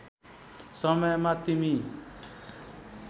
समयमा तिमी